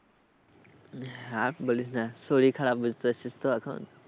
আর বলিস না শরীর খারাপ বুঝতে পারছিস তো এখন।